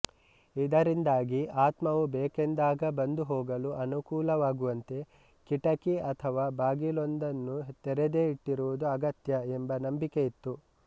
ಇದರಿಂದಾಗಿ ಆತ್ಮವು ಬೇಕೆಂದಾಗ ಬಂದುಹೋಗಲು ಅನುಕೂಲವಾಗುವಂತೆ ಕಿಟಕಿ ಅಥವಾ ಬಾಗಿಲೊಂದನ್ನು ತೆರೆದೇ ಇಟ್ಟಿರುವುದು ಅಗತ್ಯ ಎಂಬ ನಂಬಿಕೆ ಇತ್ತು